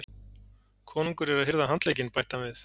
Konungur er að hirða handlegginn, bætti hann við.